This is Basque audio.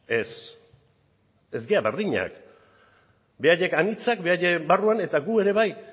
ez ez dira berdinak beraiek anitzak beraiek barruan eta gu ere bai